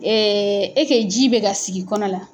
Ee e kɛ ji bɛ ka sigi kɔnɔ la!